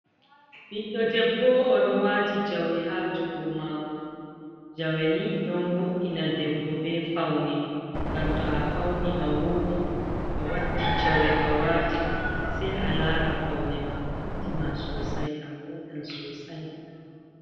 Ɓiɗɗo debbo o ɗo wati jawe ha jungo mako, jawe ni ɗon wo’ina debbo be faune, ngam to a fauni a woɗi a waddi jawe a wati sai a lara paune ma ɓamti ma sosai a woɗan sosai.